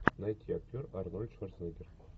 найти актер арнольд шварценеггер